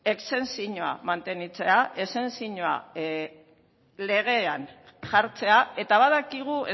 mantentzea legean jartzea eta badakigu